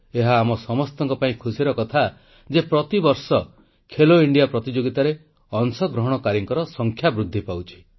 ଏହା ଆମ ସମସ୍ତଙ୍କ ପାଇଁ ଖୁସିର କଥା ଯେ ପ୍ରତିବର୍ଷ ଖେଲୋ ଇଣ୍ଡିଆ ପ୍ରତିଯୋଗିତାରେ ଅଂଶଗ୍ରହଣକାରୀଙ୍କ ସଂଖ୍ୟା ବୃଦ୍ଧି ପାଉଛି